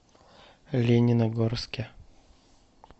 лениногорске